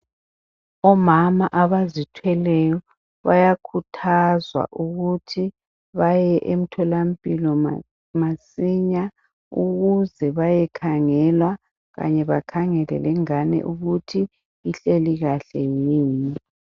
Omama abazithweleyo bayakhuthazwa ukuthi baye emtholampilo masinya ukuze bayekhangelwa kanye bakhangele lengane ukuthi ihleli kahle yini